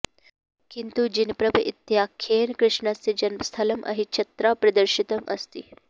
किन्तु जिनप्रभ इत्याख्येन कृष्णस्य जन्मस्थलम् अहिच्छत्रा प्रदर्शितम् अस्ति